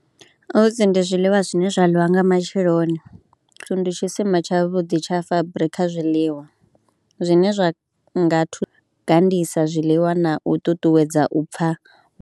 Oats ndi zwiḽiwa zwine zwa ḽiwa nga matsheloni, oats ndi tshisima tshavhuḓi tsha fabiri kha zwiḽiwa zwine zwa nga thusa gandisa zwiḽiwa na u ṱuṱuwedza u pfha.